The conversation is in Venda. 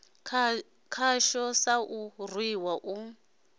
khatsho sa u rwiwa u